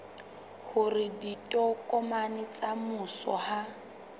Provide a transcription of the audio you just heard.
hore ditokomane tsa mmuso ha